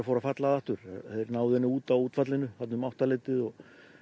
fór að falla að aftur þeir náðu henni út á útfallinu um áttaleytið